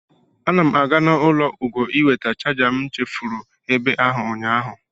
Ana m aga n'ụlọ Ugo ịweta chaja ekwentị m chefuru ebe ahụ ụnyaahụ.